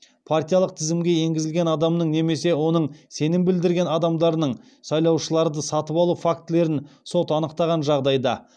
партиялық тізімге енгізілген адамның немесе оның сенім білдірген адамдарының сайлаушыларды сатып алу фактілерін сот анықтаған жағдайда